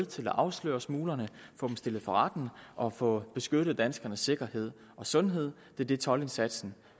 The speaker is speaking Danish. til at afsløre smuglerne og få dem stillet for retten og få beskyttet danskernes sikkerhed og sundhed det er det toldindsatsen